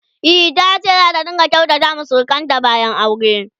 e tace zata rinka kyautata wa surukanta bayan aure